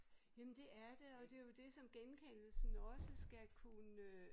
Jamen det er det og det jo det som genkendelsen også skal kunne øh